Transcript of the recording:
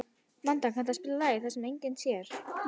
Manda, kanntu að spila lagið „Það sem enginn sér“?